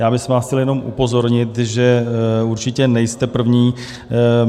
Já bych vás chtěl jenom upozornit, že určitě nejste první.